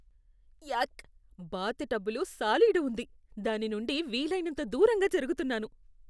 యాక్, bath టబ్లో సాలీడు ఉంది, దాని నుండి వీలైనంత దూరంగా జరుగుతున్నాను.